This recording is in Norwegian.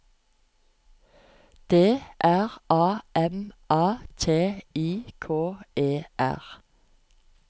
D R A M A T I K E R